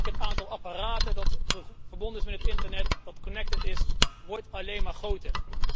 Ook het aantal apparaten dat verbonden is met het internet, dat connected is, wordt alleen maar groter.